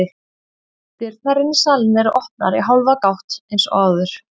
Dyrnar inn í salinn eru opnar í hálfa gátt eins og áður.